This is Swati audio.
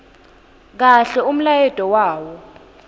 kahle umlayeto wawo